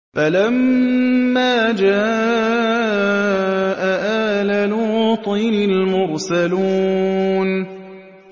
فَلَمَّا جَاءَ آلَ لُوطٍ الْمُرْسَلُونَ